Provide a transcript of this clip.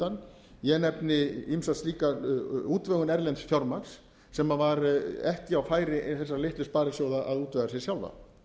markaðshlutann ég nefni ýmsa slíka útvegun erlends fjármagns sem var ekki á færi þessara litlu sparisjóða að útvega sér sjálfa